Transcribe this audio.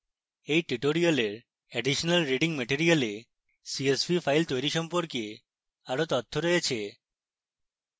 এই tutorial additional reading material এ csv file তৈরী সম্পর্কে আরো তথ্য রয়েছে